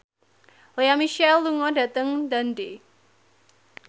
Lea Michele lunga dhateng Dundee